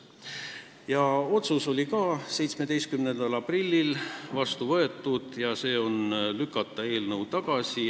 Ka otsus sai 17. aprillil vastu võetud: otsustati eelnõu tagasi lükata.